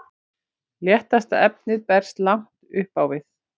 léttasta efnið berst langt upp á við